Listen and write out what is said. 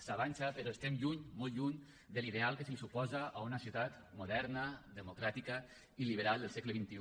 s’avança però estem lluny molt lluny de l’ideal que se suposa a una ciutat moderna democràtica i liberal al segle xxi